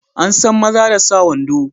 An san maza da sa wando.